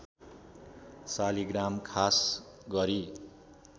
शालिग्राम खास गरी